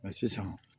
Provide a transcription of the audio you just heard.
sisan